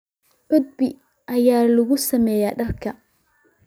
Cudbi ayaa lagu sameeyaa dharka.